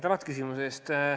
Tänan küsimuse eest!